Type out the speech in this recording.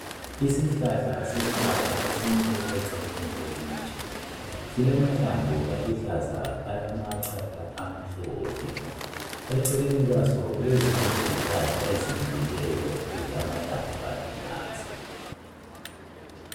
Isihlahla senhlaba esimile eceleni kwelitshe. Silamahlamvu aluhlaza alamachatha amhlophe , eceleni kwaso kulezinye izihlahla ezimilileyo ezilamahlamvu aluhlaza.